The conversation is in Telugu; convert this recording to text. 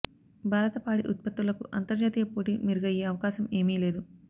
భారత పాడి ఉత్పత్తులకు అంతర్జాతీయ పోటీ మెరుగయ్యే అవకాశం ఏమీ లేదు